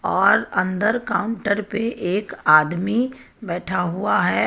और अंदर काउंटर पे एक आदमी बैठा हुआ है.